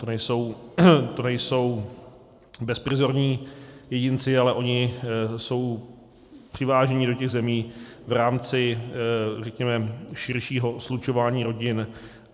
To nejsou bezprizorní jedinci, ale oni jsou přiváženi do těch zemí v rámci, řekněme, širšího slučování rodin.